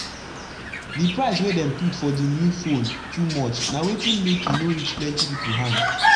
d price wey dem put for d new phone too much na wetin make e no reach plenti pipu hand